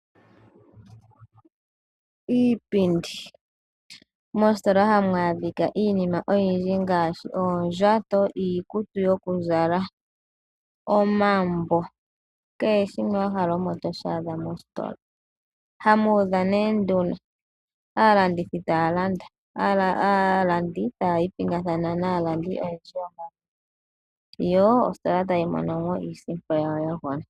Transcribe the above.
Iipindi! Mositola hamu adhika iinima oyindji ngaashi oondjato, iikutu yokuzala, omambo kehe shimwe wa hala omo to shi adha mositola hamu udha nee nduno, aalandithi taya landa, aalandi taya ipingathana naalandi ooyakwawo, yo ositola tayi mono mo iisimpo yawo ya gwana.